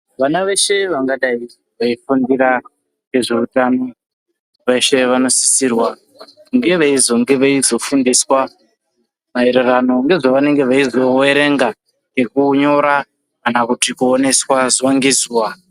Vana veshe vangadai veifundira ngezveutano veshe vanosisirwa kunge veizofundiswa maererano ngezvavanenge veizoverenga ngekunyora kana kuti kuoneswa zuwa ngezuwa